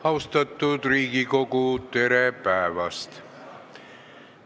Austatud Riigikogu, tere päevast!